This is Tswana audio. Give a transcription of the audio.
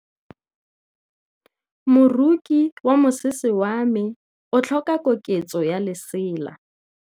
Moroki wa mosese wa me o tlhoka koketsô ya lesela.